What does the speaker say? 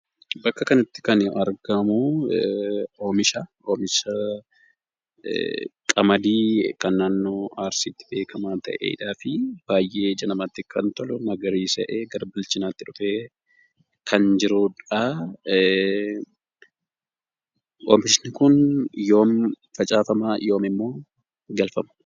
Bakka kanatti kan argamu, Oomisha qamadii kan naannoo Arsiitti beekamaa ta'eedhaa fi baay'ee ija namaatti kan tolu, magariisa'ee gara bilchinaatti dhufee kan jiruudha. Oomishni kun yoom facaafama? Yoomimmoo galfama?